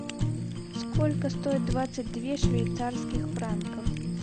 сколько стоит двадцать две швейцарских франков